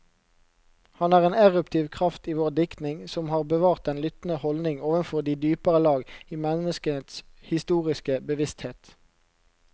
Han er en eruptiv kraft i vår diktning, som har bevart den lyttende holdning overfor de dypere lag i menneskets historiske bevissthet.